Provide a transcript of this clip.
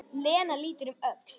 Lena lítur um öxl: Hvað?